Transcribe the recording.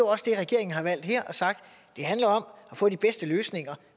også det regeringen har valgt her har sagt at det handler om at få de bedste løsninger